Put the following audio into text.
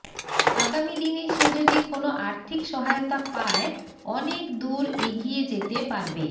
আগামিদিনে সে যদি কোনও আর্থিক সহায়তা পায় অনেক দূর এগিয়ে যেতে পারবে